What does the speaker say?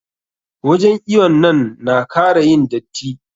Wajen iwon nan na kara yin datti.